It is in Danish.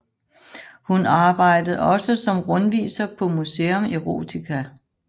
Hun arbejdede også som rundviser på Museum Erotica